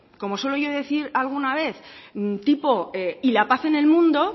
como suelo yo decir alguna vez tipo y la paz en el mundo